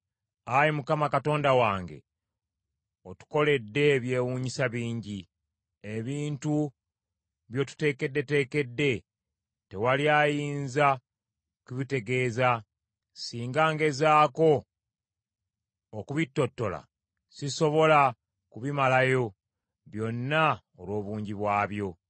Ayi Mukama Katonda wange, otukoledde eby’ewunyisa bingi. Ebintu by’otuteekeddeteekedde tewali ayinza kubikutegeeza. Singa ngezaako okubittottola, sisobola kubimalayo byonna olw’obungi bwabyo.